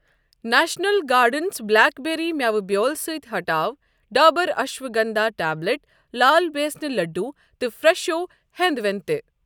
National gardens blackberry مٮ۪وٕ بیٛول سۭتۍ ہٹاو ڈابر اشواگنٛدھا ٹیبلِٹ ، لال بیسنہِ لٔڈّوٗ تہٕ فرٛٮ۪شو ہٮ۪نٛد وٮ۪نٛد تہِ۔